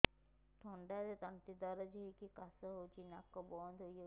ଥଣ୍ଡାରେ ତଣ୍ଟି ଦରଜ ହେଇକି କାଶ ହଉଚି ନାକ ବନ୍ଦ ହୋଇଯାଉଛି